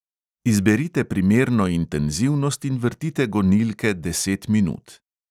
Izberite primerno intenzivnost in vrtite gonilke deset minut.